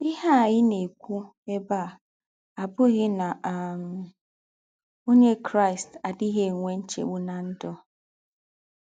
Íhe à ná-èkwù èbè à àbùghì ná um Ónyè Kraị́st àdíghì ènwè ńchègbù ná ndụ́.